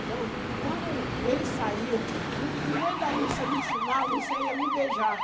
Então, quando ele saía um pouquinho, em vez da Lúcia me ensinar, a Lúcia ia me beijar.